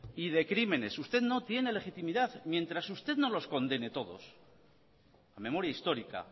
y de crímenes usted no tiene legitimidad mientras usted no los condene todos la memoria histórica